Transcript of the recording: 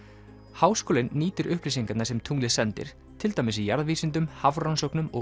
háskólinn nýtir upplýsingarnar sem tunglið sendir til dæmis í jarðvísindum hafrannsóknum og